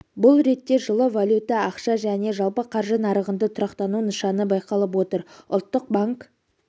бұл ретте жылы валюта ақша және жалпы қаржы нарығында тұрақтану нышаны байқалып отыр ұлтты банк